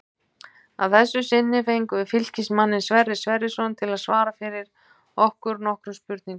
Að þessu sinni fengum við Fylkismanninn Sverrir Sverrisson til að svara fyrir okkur nokkrum spurningum.